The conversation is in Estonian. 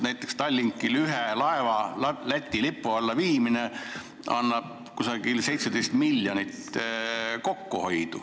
Näiteks Tallinkile annab ühe laeva Läti lipu alla viimine umbes 17 miljonit kokkuhoidu.